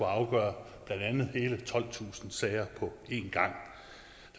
afgøre hele tolvtusind sager på en gang